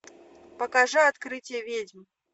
покажи открытие ведьм